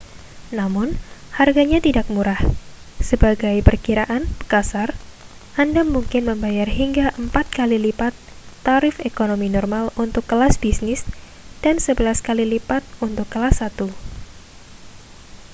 namun harganya tidak murah sebagai perkiraan kasar anda mungkin membayar hingga empat kali lipat tarif ekonomi normal untuk kelas bisnis dan sebelas kali lipat untuk kelas satu